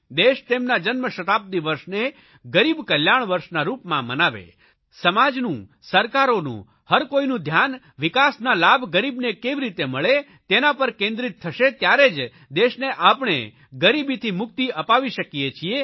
દેશ તેમના જન્મશતાબ્દિ વર્ષને ગરીબ કલ્યાણ વર્ષ ના રૂપમાં મનાવે સમાજનું સરકારોનું હરકોઇનું ધ્યાન વિકાસના લાભ ગરીબને કેવી રીતે મળે તેના પર કેન્દ્રીત થશે ત્યારે જ દેશને આપણે ગરીબીથી મુક્તિ અપાવી શકીએ છીએ